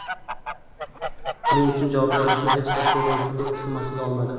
Buning uchun javobgarlikni hech bir terrorchi guruh zimmasiga olmadi.